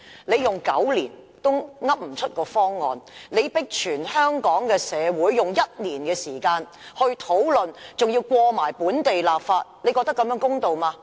你花了9年時間也說不出方案，現在卻迫香港社會以1年時間討論，並且通過本地立法，你認為這樣做公道嗎？